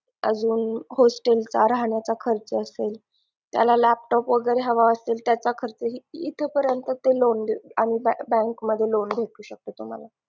अजून hostel चा राहण्याचा खर्च असेल त्याला laptop वगैरे हवे असेल त्याचा खर्च इथे परेंत ते loan अजून bank मध्ये loan भेटू शकते तुम्हाला